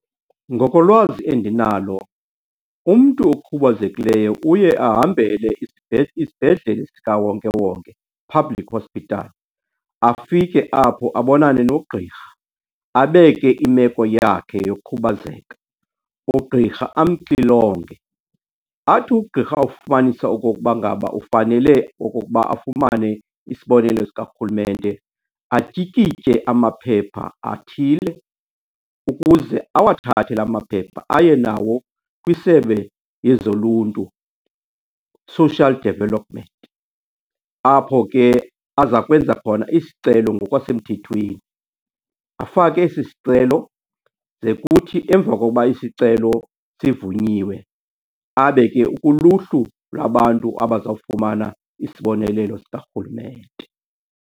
Ngokolwazi endinalo umntu okhubazekileyo uye ahambele isibhedlele sikawonkewonke, public hospital, afike apho abonane nogqirha. Abeke imeko yakhe yokhubazeka, ugqirha amxilonge. Athi ugqirha awufumanisa okokuba ngaba ufanele okokuba afumane isibonelelo sikarhulumente, atyikitye amaphepha athile ukuze awathathe la maphepha aye nawo kwisebe lezoluntu, social development, apho ke aza kwenza khona isicelo ngokwasemthethweni. Afake esi sicelo ze kuthi emva kokuba isicelo sivunyiwe, abe ke ukuluhlu lwabantu abazawufumana isibonelelo sikarhulumente.